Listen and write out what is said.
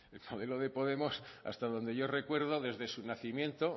el modelo de podemos hasta donde yo recuerdo desde su nacimiento